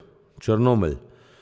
Črnomelj.